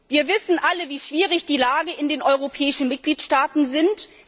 Wir wissen alle, wie schwierig die Lage in den europäischen Mitgliedstaaten ist.